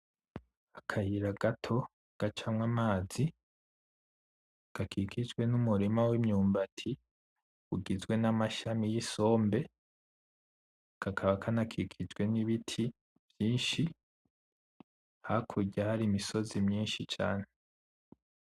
Akayira gato gacamwo amazi, gakikijwe n'umurima w'imyumbati ugizwe n'amashami y'isombe kakaba kana kikijwe n'ibiti vyinshi, hakurya hari imisozi myinshi cane.